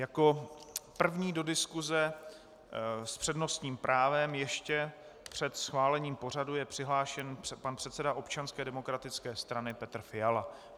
Jako první do diskuse s přednostním právem ještě před schválením pořadu je přihlášen pan předseda Občanské demokratické strany Petr Fiala.